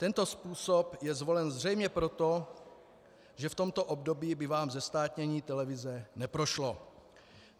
Tento způsob je zvolen zřejmě proto, že v tomto období by vám zestátnění televize neprošlo.